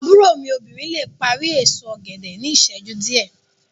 Àbúrò mí obìnrin le parí èso ògèdè ní ìsẹ́jú díẹ̀